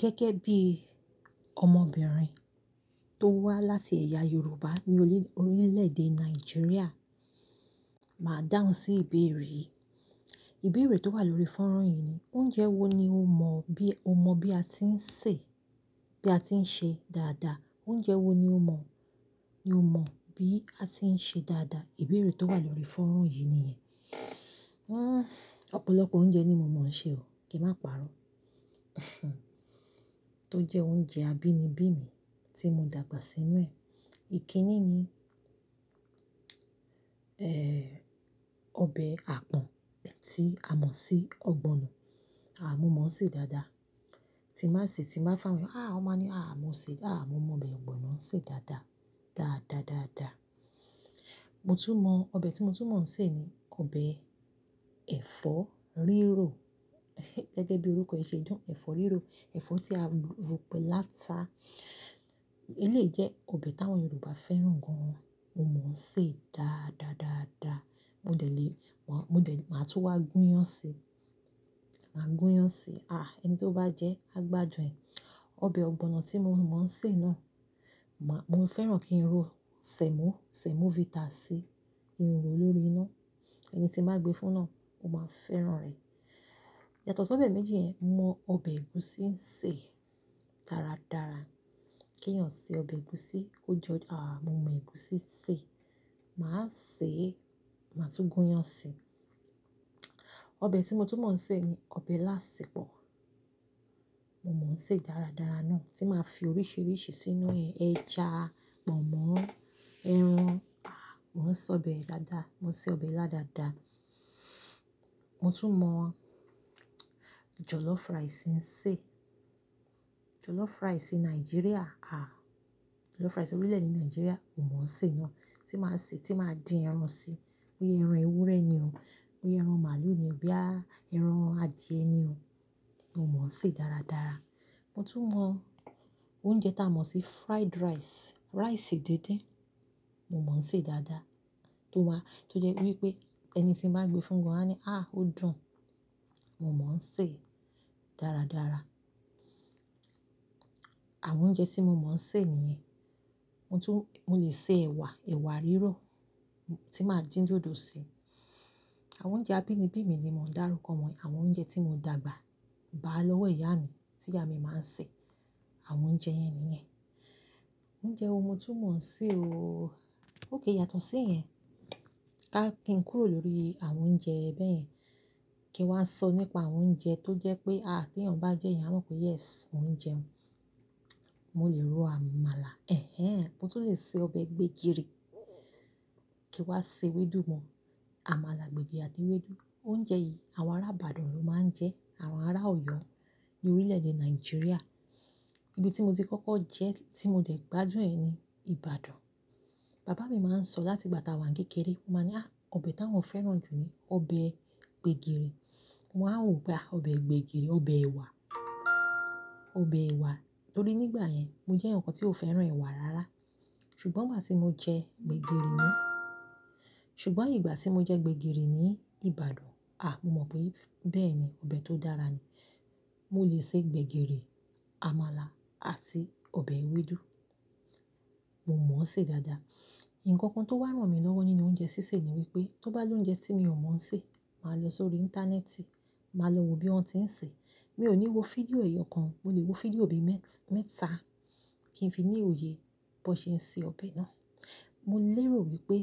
Gẹ́gẹ́ bí ọmọbìnrin tó wá láti ẹ̀yà Yorùbá ní orílẹ̀ èdè Nàìjíríà, màá dáhùn sí ìbéèrè yìí. Ìbéèrè tó wà lórí fọ́nrán yìí ni oúnjẹ wo ni o mọ̀ bí a ti ń sè, bí a ti ń ṣe dáadáa? Oúnjẹ wo ni o mọ̀ bí a ti ń ṣe dáadáa? Ìbéèrè tó wà lórí fọ́nrán yìí nìyẹn. Ọ̀pọ̀lọpọ̀ oúnjẹ ni mo mọ̀ ọ́n ṣe o, kí n má parọ́. Tó jẹ́ oúnjẹ abínibí mi tí mo dàgbà sínú ẹ̀. Ikínní ni, ọbẹ̀ àpọ̀n tí a mọ̀ sí ọ̀gbọ̀nọ̀. Àh mo mọ̀ ọ́n ṣe dáadáa. Tí màá sè é, tí màá fà wẹ́, wọ́n máa ní, "àá, mo mọ̀ ọbẹ̀ ọ̀gbọ̀nọ̀ ṣe dáadáa. Daadadaada". Mo tún mọ̀ ọbẹ̀ tí mo tún mọ̀ ọ́n sè ni ọbẹ̀ ẹ̀fọ́ rírọ̀. Gẹ́gẹ́ bí orúkọ ẹ ṣe jọ́, ẹ̀fọ́ rírọ̀, ẹ̀fọ́ tí a rọ̀ pé láta. Èleyi jẹ́ ọbẹ̀ táwọn Yorùbá fẹ́ràn gan. Mo mọ̀ ọ́n ṣe dáadáadáadaa. Mo de le máa tún wá gúnyán ṣe. Máa gúnyán ṣi. Àá, ẹni tí ó bá jẹ ẹ́ á gbádùn ẹ̀. Ọbẹ̀ ọ̀gbọ̀nọ̀ tí mo mọ̀ ọ́n sè náà, mo fẹ́ràn kí n ro sẹ̀mọ́, sẹ̀mọ́vita sí, kí n ro lórí iná. Ẹni tí màá gbé fún náà, ó máa fẹ́ràn rẹ̀. Yàtọ̀ sí ọbẹ̀ méjì yẹn, mo mọ ọbẹ̀ ẹ̀gúsí ń ṣe dáradára. Kí èèyàn ṣe ọbẹ̀ ẹ̀gúsí, kó jọ́. Àá, mo mọ ẹ̀gúsí sè. Màá sè é, màá tún gúnyán ṣi. Ọbẹ̀ tí mo tún mọ̀ ọ́n sè ni ọbẹ̀ ilá asèpọ̀. Mo mọ̀ ọ́n ṣe dáradára náà. Tí màá fi oríṣìíríṣìí sínú ẹ̀, ẹja, mọ̀ọ́mọ́, ẹran. Daadaa mò ń sè ọbẹ̀ ila dáadáa. Mo tún mọ̀ jọ̀lọ́fù ráìsì ń sè. Jọ̀lọ́fù ráìsì Nàìjíríà, à á. Jọ̀lọ́fù ráìsì orílẹ̀-èdè Nàìjíríà, mo mọ̀ ọ́n sè náà. Tí màá sè é, tí màá dín ẹran si, bóyá ẹran ewúrẹ́ ni o, bóyá ẹran màlúù ni o boya ẹran adìẹ ni o, mo mọ̀ ọ́n ṣe dáradára. Mo tún mọ̀ oúnjẹ tí a mọ̀ sí fried rice, ráìsì díndín. Mo mọ̀ ọ́n ṣe dáadáa. Tó jẹ́ wípé ẹni tí màá gbé fún gan á ní, "àá, ó dùn." Mo mọ̀ ọ́n ṣe dáradára. Àwọn oúnjẹ tí mo mọ̀ ọ́n sè nìyẹn. Mo lè ṣe ẹ̀wà, ẹ̀wà rírọ̀ tí màá dín dòdò sí i. Àwọn oúnjẹ abínibí mi ni mò ń dára kọ́ wọn. Àwọn oúnjẹ tí mo dàgbà bá lọ́wọ́ ìyá mi tí ìyá mi máa ń sè. Àwọn oúnjẹ yẹn nìyẹn. Oúnjẹ wo mo tún mọ̀ ọ́n sè o? Ókay yàtọ̀ sí yẹn. Kí n kúrò lórí àwọn oúnjẹ bẹ́ẹ̀ yẹn, kí n wá sọ nípa àwọn oúnjẹ tó jẹ́ pé kí èèyàn bá jẹ́ ẹ, ìyẹn á mọ̀ pé "yes" oun jẹun. Mo lè ro àmàlà. Ẹ̀hẹ́ń. Mo tún lè ṣe ọbẹ̀ gbẹ̀gìrì. Kí n wá ṣe ewédú mọ? Àmàlà, gbẹ̀gìrì àti ewédú. Oúnjẹ yìí àwọn ará Ìbàdàn ló máa ń jẹ, àwọn ará Ọ̀yọ́ ní orílẹ̀-èdè Nàìjíríà. Ibi tí mo ti kọ́kọ́ jẹ́, tí mo dẹ̀ gbádùn ẹ̀ ni Ìbàdàn. Bàbá mi máa ń sọ láti ìgbà tí àwa ń kékeré. Ó máa ń ní, "àá, ọbẹ̀ táwọn fẹ́ràn jù ni ọbẹ̀ gbẹ̀gìrì." Mo wá wò pe aa ọbẹ̀ gbẹ̀gìrì, ọbẹ̀ ẹ̀wà. Ọbẹ̀ ẹ̀wà. Tórí nígbà yẹn, mo jẹ́ eyan kan tí ó fẹ́ràn ẹ̀wà rárá. Ṣùgbọ́n ìgbà tí mo jẹ gbẹ̀gìrì ní Ìbàdàn, à á, mo mọ̀ pé bẹ́ẹ̀ ni ọbẹ̀ tó dára ni. Mo lè ṣe gbẹ̀gìrì, àmàlà àti ọbẹ̀ ewédú. Mo mọ̀ ọ́n ṣe dáadáa. Ǹkan kan tó wà rán mi lọ́wọ́ nínú oúnjẹ sísè ni wípé tó bá ní oúnjẹ tí mi ò mọ̀ ọ́n sè, màá lọ sórí Íńtánẹ́ẹ̀tì, màá lọ wo bí wọn ti ń sè é. Mi ò ní wo fídíò èèyọ̀ kan, mo lè wo fídíòòbi mẹ́ta kí n fi ní òye bí wọ́n ṣe ń ṣe ọbẹ̀ náà. Mo lérò wípé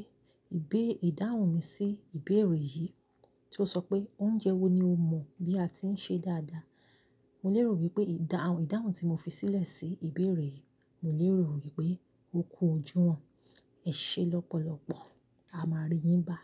ìbe ìdáhùn mi sí ìbéèrè yìí tí ó sọ pé oúnjẹ wo ni o mọ̀ bí a ti ń ṣe dáadáa. Mo lérò wípé ìdáhùn tí mo fi sílẹ̀ sí ìbéèrè yìí, mo lérò wípé ó kú ojúwon. Ẹ ṣe lọ́pọ̀lọpọ̀. A máa ri yín bá.